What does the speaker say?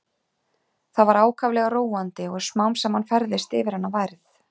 Það var ákaflega róandi og smám saman færðist yfir hana værð.